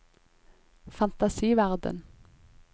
fantasiverden